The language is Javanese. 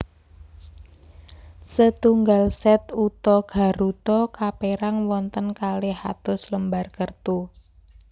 Setunggal set uta garuta kapérang wonten kalih atus lembar kertu